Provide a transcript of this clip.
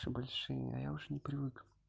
всё большие а я уже не привык